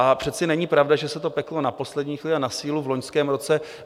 A přece není pravda, že se to peklo na poslední chvíli a na sílu v loňském roce.